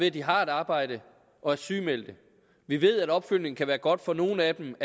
at de har et arbejde og er sygemeldte vi ved at opfølgning kan være godt for nogle af dem